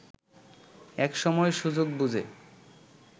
এক সময় সুযোগ বুঝে